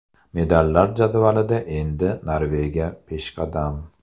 Medallar jadvalida endi Norvegiya peshqadam.